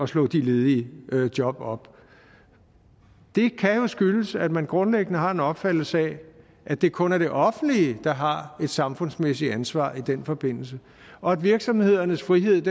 slå de ledige job op det kan jo skyldes at man grundlæggende har en opfattelse af at det kun er det offentlige der har et samfundsmæssigt ansvar i den forbindelse og at virksomhedernes frihed